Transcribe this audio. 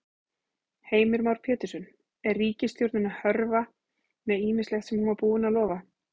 Heimir Már Pétursson: Er ríkisstjórnin að hörfa með ýmislegt sem hún var búin að lofa?